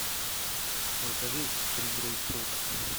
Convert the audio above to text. закажи три грейпфрута